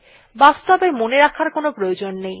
বাস্তবে মনে রাখার কোনো প্রয়োজন নেই